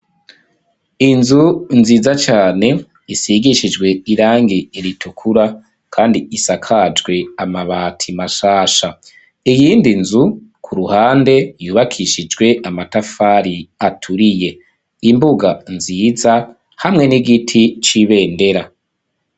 Inzu nziza cane isigishijwe irangi ritukura kandi isakajwe amabati mashasha iyindi nzu ku ruhande yubakishijwe amatafari aturiye imbuga nziza hamwe n'igiti c'ibendera.